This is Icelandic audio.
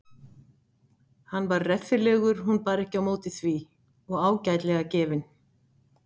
Hann var reffilegur hún bar ekki á móti því og ágætlega gefinn.